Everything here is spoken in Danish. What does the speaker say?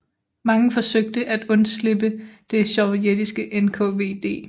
Mange forsøgte at undslippe det sovjetiske NKVD